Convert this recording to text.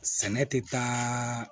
Sɛnɛ tɛ taa